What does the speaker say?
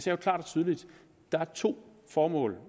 jo klart og tydeligt at der er to formål